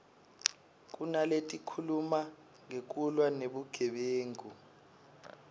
kunaletikhuluma ngekulwa nebugebengu